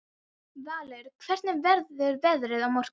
Valur, hvernig verður veðrið á morgun?